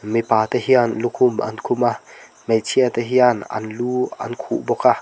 mipa te hian lukhum an khum a hmeichhia te hian an lu an khuh bawk a.